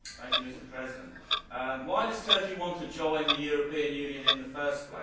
Mr President, why does Turkey want to join the European Union in the first place?